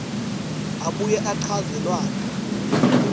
abuye achaze lwati